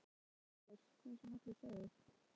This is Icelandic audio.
Auðvitað var hann saklaus hvað sem allir sögðu.